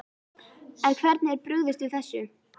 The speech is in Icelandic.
En hvernig er brugðist við þessu?